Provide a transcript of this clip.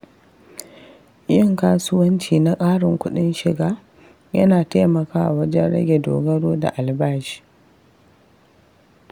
Yin kasuwanci na ƙarin kuɗin shiga yana taimakawa wajen rage dogaro da albashi.